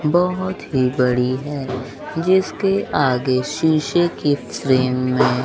बहोत ही बड़ी है जिसके आगे शीशे की फ्रेम में --